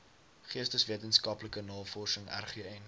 geesteswetenskaplike navorsing rgn